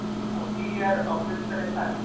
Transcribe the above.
Stórmót ÍR á fullri ferð